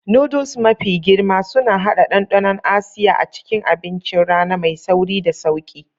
Noodles mafi girma suna haɗa ɗanɗanon Asiya a cikin abincin rana mai sauri da sauƙi.